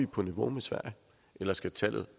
på niveau med sverige eller skal tallet